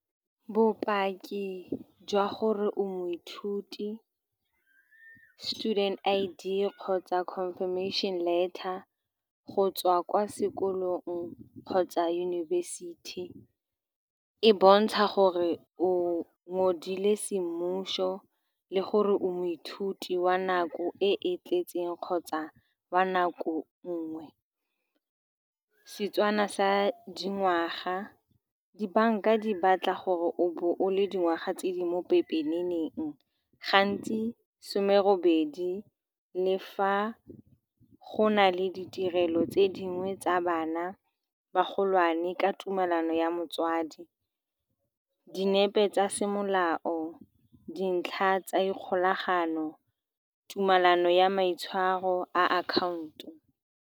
Bopaki jwa gore o moithuti, student I_D, kgotsa ka information letter go tswa kwa sekolong kgotsa yunibesithi, e bontsha gore o ngodile semmušo le gore o moithuti wa nako e e tletseng kgotsa wa nako nngwe. Setswana sa dingwaga, di-bank-a di batla gore o bo o le dingwaga tse di mo pepeneneng, gantsi some robedi, le fa go na le ditirelo tse dingwe tsa bana ba ba golwane ka tumelano ya motswadi. Dinepe tsa semolao, dintlha tsa dikgolagano, tumelano ya maitshwaro a account-o.